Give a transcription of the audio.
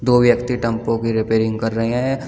दो व्यक्ति टेंपो की रिपेयरिंग कर रहे हैं।